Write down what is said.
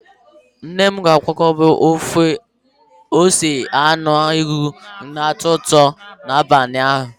Nne m ga-akwadebe ofe ose anụ ewu na-atọ ụtọ n'abalị a.